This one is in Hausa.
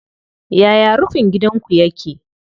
Yaya rufin gidanku yake?